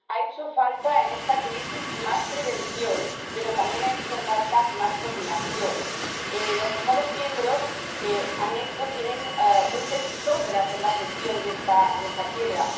Ha hecho falta en esta crisis más prevención, pero también ha hecho falta más coordinación. En los Estados miembros ha habido luces y sombras en la gestión de esta quiebra